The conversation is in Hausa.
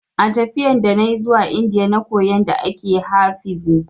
A tafiyan da nayi zuwa Indiya na koyi yanda ake ha fiza